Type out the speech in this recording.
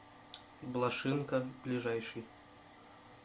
блошинка ближайший